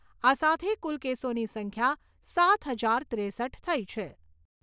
આ સાથે કુલ કેસોની સંખ્યા સાત હજાર ત્રેસઠ થઈ છે.